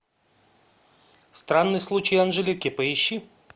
странный случай анжелики поищи